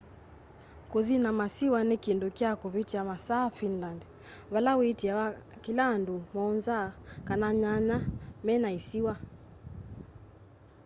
kũthi na masiwa ni kindũ kya kuvĩtya masaa finland vala wĩtiaa kila andũ 7 kana nyanya mena ĩsiwa